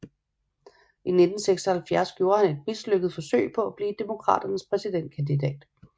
I 1976 gjorde han et mislykket forsøg på at blive Demokraternes præsidentkandidat